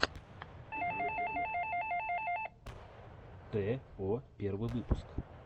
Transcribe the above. тэ о первый выпуск